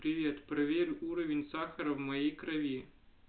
привет проверь уровень сахара в моей крови